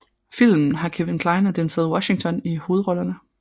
Filmen har Kevin Kline og Denzel Washington i hovedrollerne